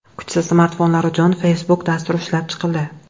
Kuchsiz smartfonlar uchun Facebook dasturi ishlab chiqildi.